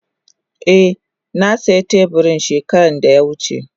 Eh na siya teburin shekara da ya wuce.